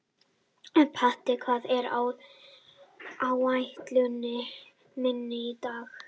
Patti, hvað er á áætluninni minni í dag?